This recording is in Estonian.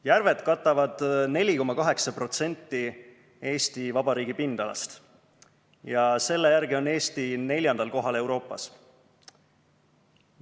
Järved katavad 4,8% Eesti Vabariigi pindalast ja selle järgi on Eesti neljandal kohal Euroopas.